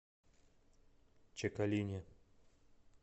чекалине